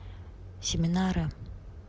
семинары